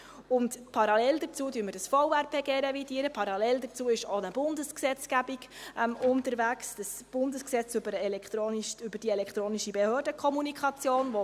Parallel wird das VRPG revidiert, parallel ist auch eine Bundesgesetzgebung unterwegs, das Bundesgesetz über die elektronische Behördenkommunikation.